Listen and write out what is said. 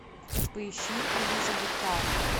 поищи элизабеттаун